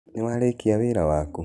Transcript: Nĩwarĩkĩa wĩra wakũ?